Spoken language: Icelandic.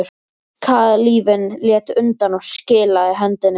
Kalífinn lét undan og skilaði hendinni.